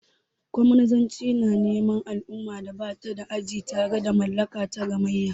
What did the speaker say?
Kwaminisanci na neman al'ummar da ba ta da aji tare da mallaka ta gamayya.